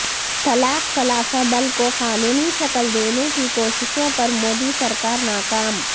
طلاق ثلاثہ بل کو قانونی شکل دینے کی کوششوں پر مودی سرکار ناکام